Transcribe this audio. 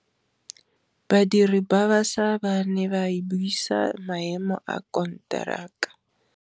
Badiri ba baša ba ne ba buisa maêmô a konteraka.